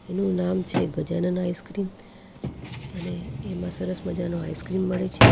એનું નામ છે ગજાનન આઇસ્ક્રીમ અને એમાં સરસ મજાનો આઈસ્ક્રીમ મળે છે.